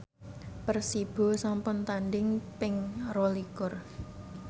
Persibo sampun tandhing ping rolikur